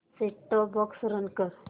set top box run कर